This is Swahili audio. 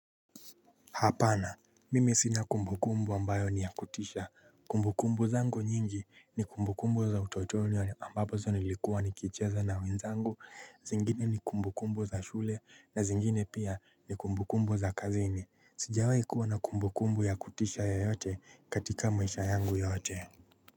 Hapana mimi sina kumbukumbu ambayo ni yakutisha, kumbukumbu zangu nyingi ni kumbukumbu za utotoni ambapozo nilikuwa nikicheza na wenzangu. Zingine ni kumbukumbu za shule na zingine pia ni kumbukumbu za kazini. Sijawahi kuwa na kumbukumbu ya kutisha yeyote katika maisha yangu yote.